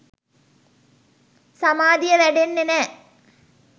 සමාධිය වැඩෙන්නෙ නෑ